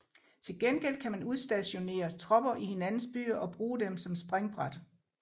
Tilgengæld kan man udstationere tropper i hinandens byer og bruge dem som springbræt